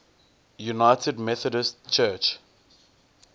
united methodist church